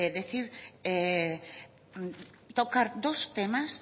tocar dos temas